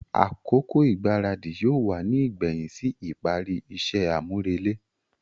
Akoko igbaradi yóò wá ní igbẹhin sí ìparí iṣẹ amurele.